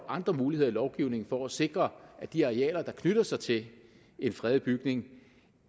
andre muligheder i lovgivningen for at sikre at de arealer der knytter sig til en fredet bygning